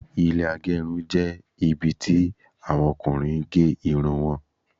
Ilẹ́ agerun jẹ́ ibi tí àwọn Ọkùnrin gé Irun wọn